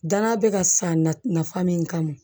Danaya bɛ ka san nafan min kama